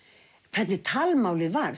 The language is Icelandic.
hvernig talmálið var